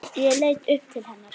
Ég leit upp til hennar.